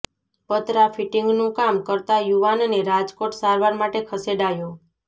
પતરા ફિટીંગનું કામ કરતાં યુવાનને રાજકોટ સારવાર માટે ખસેડાયો